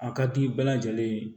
A ka di bɛɛ lajɛlen ye